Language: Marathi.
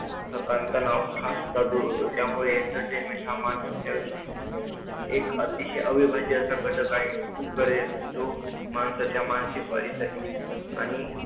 थाकान -तणाव सुद्धा दूर होतो त्यामुळे entertainment हे मानवाच्या आयुष्यातील एक अतिशय अविभाज्य असा घटक आहे. खूप गर जो माणसाच्या मानसिक वाढीसाठी